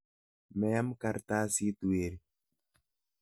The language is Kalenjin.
Meam kartasit weri.